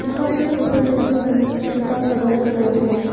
यहां पे ऊपर में ब्लू कलर का तिरपाल लगाया हुआ है।